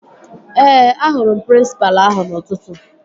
Ee, ahụrụ m prịnsịpalụ ahụ n'ụtụtụ